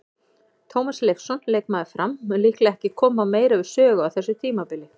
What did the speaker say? Tómas Leifsson, leikmaður Fram, mun líklega ekki koma meira við sögu á þessu tímabili.